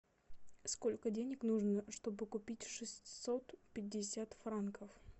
сколько денег нужно чтобы купить шестьсот пятьдесят франков